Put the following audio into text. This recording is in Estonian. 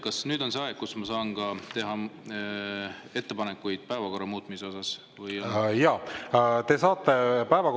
Kas nüüd on see aeg, kui ma saan ka teha päevakorra muutmise ettepanekuid?